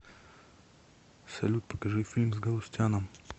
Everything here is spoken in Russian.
салют покажи фильм с галустяном